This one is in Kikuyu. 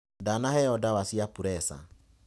Ndanaheo ndawa cia preca.